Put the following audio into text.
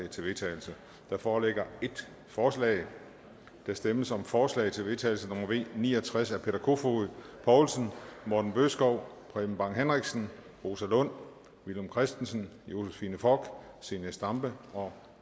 til vedtagelse der foreligger ét forslag der stemmes om forslag til vedtagelse nummer v ni og tres af peter kofod poulsen morten bødskov preben bang henriksen rosa lund villum christensen josephine fock zenia stampe og